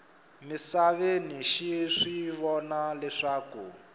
misaveni xi swi vona leswaku